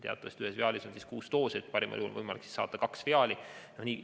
Teatavasti on ühes viaalis kuus doosi, nii et parimal juhul olnuks igal perearstil võimalik saada kaks viaali.